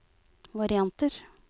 varianter